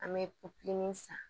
An bɛ san